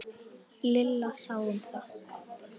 Lilla sá um það.